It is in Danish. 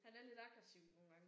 Han er lidt aggressiv nogle gange